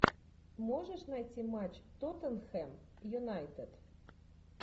можешь найти матч тоттенхэм юнайтед